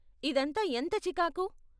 ఇదంతా ఎంత చికాకు.